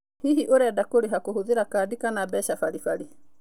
Hihi ũrenda kũrĩha kũhũthĩra kandi kana mbeca baribari.